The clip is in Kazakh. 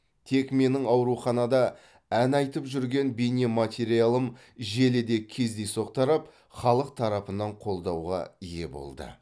тек менің ауруханада ән айтып жүрген бейнематериалым желіде кездейсоқ тарап халық тарапынан қолдауға ие болды